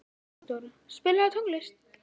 Ísadóra, spilaðu tónlist.